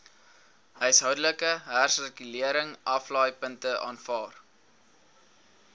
huishoudelike hersirkuleringsaflaaipunte aanvaar